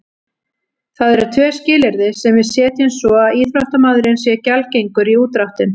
Það eru tvö skilyrði sem við setjum svo að íþróttamaðurinn sé gjaldgengur í útdráttinn.